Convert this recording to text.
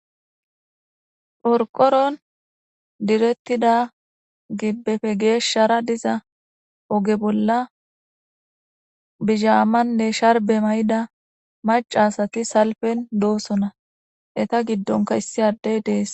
Qorqoron direttida gibbefe geeshshara diza oge bolla bizhaamanne sharbe may7ida mac asati salpen doosona eta giddonka issi addey dees